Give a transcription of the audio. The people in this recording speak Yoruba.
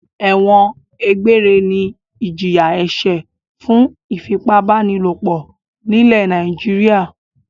Ẹ̀wọ̀n egbére ni ìjìyà-ẹ̀ṣẹ̀ fún ìfipábánilòpọ̀ nílẹ̀ Nàìjíríà.